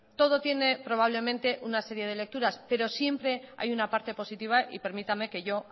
todo tiene probablemente una serie de lecturas pero siempre hay una parte positiva y permítame que yo